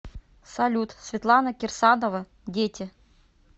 салют светлана кирсанова дети